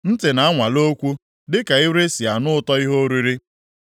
Ntị na-anwale okwu dịka ire si anụ ụtọ ihe oriri.